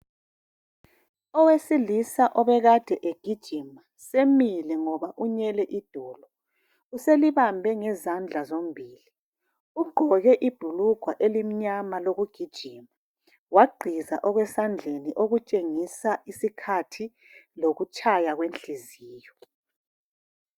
Owesilisa obekade egijima semile ngoba unyele idolo. Selibambe ngezandla zombili. Ugqoke ibhulugwa elimnyama lokugijima wagqiza esandleni okutshengisa isikhathi lokutshaya kwenhliziyo.